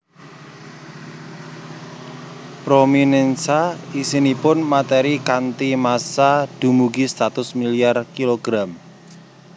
Prominènsa isinipun matèri kanthi massa dumugi satus milyar kg